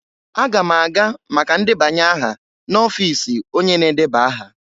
Aga m aga maka ndebanye aha n'ọfiisi onye na-edeba aha.